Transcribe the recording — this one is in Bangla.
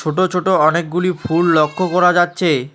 ছোট ছোট অনেকগুলি ফুল লক্ষ্য করা যাচ্ছে।